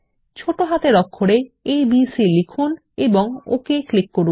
ছোট হাতের অক্ষরে এবিসি লিখুন এবং ওকে ক্লিক করুন